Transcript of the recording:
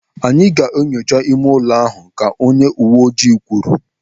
Anyị ga-enyocha ime ụlọ ahụ, ka onye uwe ojii kwuru.